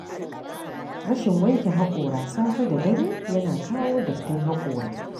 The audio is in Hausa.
Rashin wanke haƙora safe da dare yana kawo dattin haƙora.